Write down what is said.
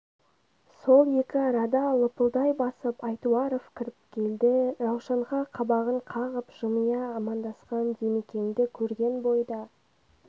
сол екі арада лыпылдай басып айтуаров кіріп келді раушанға қабағын қағып жымия амандасқан димекеңді көрген бойда